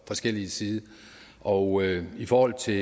forskellig side og i forhold til